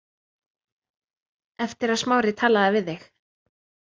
Eftir að Smári talaði við þig.